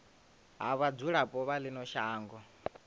ha vhadzulapo vha ino shango